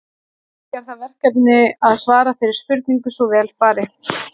Menning er það verkefni að svara þeirri spurningu svo vel fari.